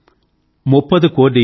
मुप्पदु कोडी मुगमुडैयाळ